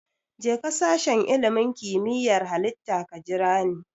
Jeka sashen ilimin kimiyyar Halitta ka jirani.